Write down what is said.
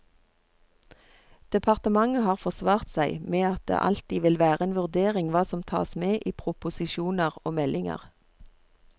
Departementet har forsvart seg med at det alltid vil være en vurdering hva som tas med i proposisjoner og meldinger.